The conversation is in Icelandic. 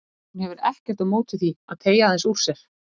Hún hefur ekkert á móti því að teygja aðeins úr sér.